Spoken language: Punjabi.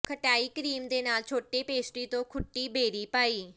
ਖਟਾਈ ਕਰੀਮ ਦੇ ਨਾਲ ਛੋਟੇ ਪੇਸਟਰੀ ਤੋਂ ਖੁੱਟੀ ਬੇਰੀ ਪਾਈ